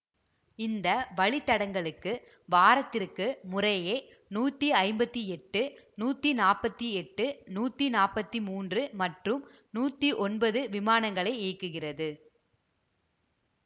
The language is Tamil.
இந்த வழி தடங்களுக்கு வாரத்திற்கு முறையே நூத்தி ஐம்பத்தி எட்டு நூத்தி நாப்பத்தி எட்டு நூத்தி நாப்பத்தி மூன்று மற்றும் நூத்தி ஒன்பது விமானங்களை இயக்குகிறது